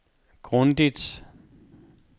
grundigt